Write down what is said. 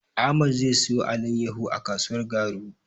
Ahmad zai siyo alaiyahu a kasuwar Garu.